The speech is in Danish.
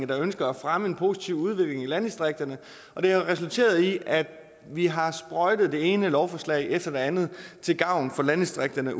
der ønsker at fremme en positiv udvikling i landdistrikterne og det har resulteret i at vi har sprøjtet det ene lovforslag efter det andet til gavn for landdistrikterne